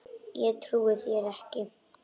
Ég trúi þér ekki.